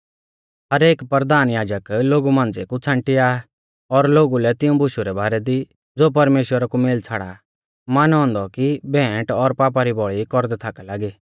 हर एक परधान याजक लोगु मांझ़िऐ कु छ़ांटिया आ और लोगु लै तिऊं बुशु रै बारै दी ज़ो परमेश्‍वरा कु मेल छ़ाड़ा मानौ औन्दौ कि भेंट और पापा री बौल़ी कौरदै थाका लागी